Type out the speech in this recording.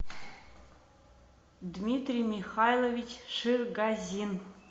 дмитрий михайлович ширгазин